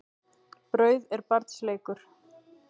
Brauð er barns leikur.